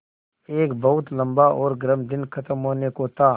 एक बहुत लम्बा और गर्म दिन ख़त्म होने को था